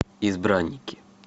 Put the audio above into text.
избранники